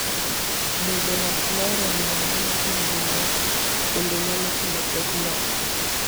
Bedo ng'at mohero luwo aluwa timbe jomoko bende nyalo kelo pek moko.